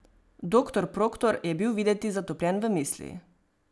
Doktor Proktor je bil videti zatopljen v misli.